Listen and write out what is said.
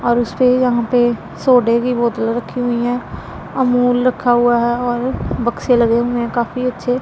और उस पे यहां पे सोडे की बोतल रखी हुई हैं अमूल रखा हुआ है और बक्से लगे हुए हैं काफी अच्छे--